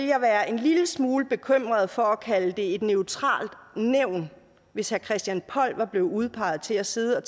jeg være en lille smule bekymret for at kalde det et neutralt nævn hvis herre christian poll var blevet udpeget til at sidde og